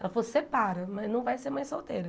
Ela falou, separa, mas não vai ser mãe solteira.